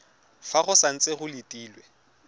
fa go santse go letilwe